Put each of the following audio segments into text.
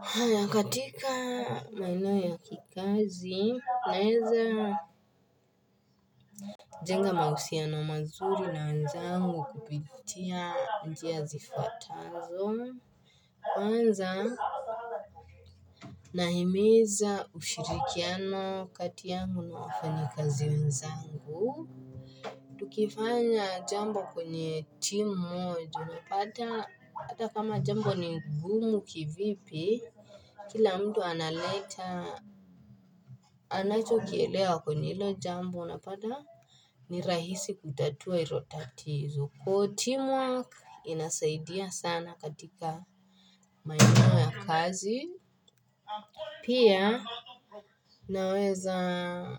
Haya katika maeneo ya kikazi naeza jenga mausiano mazuri na wenzangu kupitia njia zifuatazo, kwanza nahimiza ushirikiano kati yangu na wafanyikazi wenzangu tukifanya jambo kwenye timu moja, ata kama jambo ni ngumu kivipi kila mtu analeta anacho kielewa kwenye hilo jambo unapata ni rahisi kutatua hizo tatizo. Kwa team work inasaidia sana katika maeneo ya kazi Pia naweza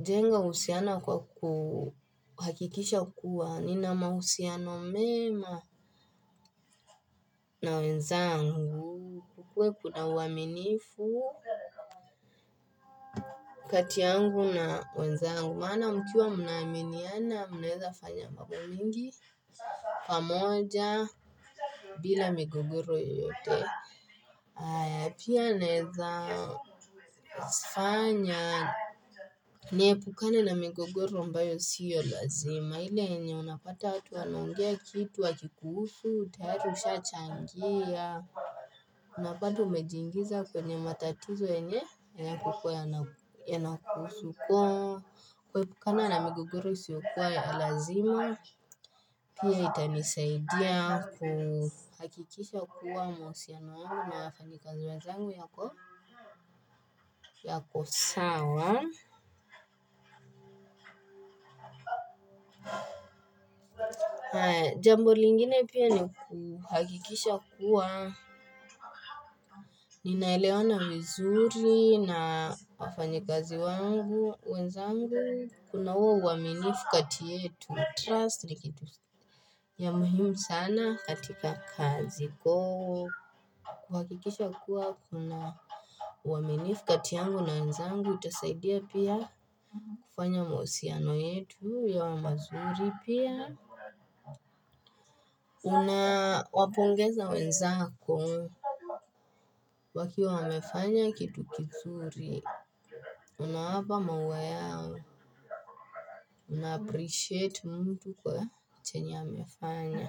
jenga uhusiano kwa kuhakikisha kuwa Nina mahusiano mema na wenzangu, kukuwe kuna uaminifu kati yangu na wenzangu, maana mkiwa mnaaminiana, mnaweza fanya mambo mingi pamoja bila migogoro yoyote, pia naeza zifanya niepukana na migogoro ambayo sio lazima ile yenye unapata watu wanaongea kitu wakikuhusu, tayari usha changia Napata umejiingiza kwenye matatizo yenye, hayakukua yanakuhusu, kuepuka na migogoro isiyokuwa ya lazima, pili itanisaidia kuhakikisha kuwa mahusiano wangu na wafanyikazi wanzangu yako sawa. Jambo lingine pia ni kuhakikisha kuwa Ninaelewana mzuri na wafanyikazi wangu wenzangu kuna huo uaminifu kati yetu. Trust ni kitu ya muhimu sana katika kazi go kuhakikisha kuwa kuna uaminifu kati yangu na wenzangu Itasaidia pia kufanya mahusiano yetu yawe mazuri pia Unawapongeza wenzako. Wakiwa wamefanya kitu kizuri. U nawapa maua yao. Unaappreciate mtu kwa chenye amefanya.